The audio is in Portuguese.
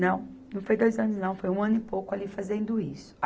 Não, não foi dois anos não, foi um ano e pouco ali fazendo isso.